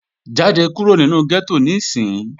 Jáde kúrò nínu gẹ́tò níìsín!